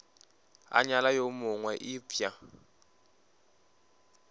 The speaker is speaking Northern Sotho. a nyala yo mongwe eupša